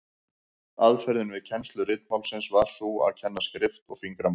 Aðferðin við kennslu ritmálsins var sú að kenna skrift og fingramál.